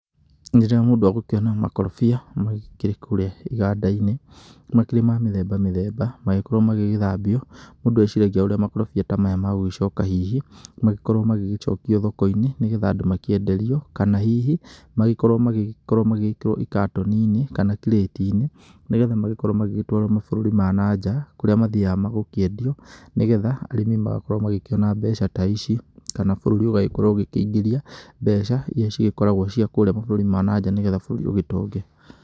Rĩrĩa mũndũ egũkiona makorobia makĩrĩ kũrĩa igandainĩ, makĩrĩ ma mĩthemba mĩthemba, magĩkorwo magĩgĩthambio mũndũ eciragia urĩa makorobia ta maya magũgĩcoka hihi magĩkorwo magĩgĩcokio thokoĩnĩ, nĩgetha andũ magĩkorwo makĩenderio kana hihi, magĩkorwo magĩkĩrwo gĩkatoni-inĩ kana kirĩtĩ-inĩ, nigetha makorwo magĩgĩtwarwo mabũrũrĩ ma nanja, kũrĩa mathiaga gũkĩendio nigetha arĩmi magakorwo makiona mbeca ta ĩcio, kana bũrũrĩ ugagĩkorwo ũkĩĩngĩria mbeca iria cigĩkoragwo cia kũrĩa mabũrũrĩ ma nanja nĩgetha bũrũri ũgĩtonge.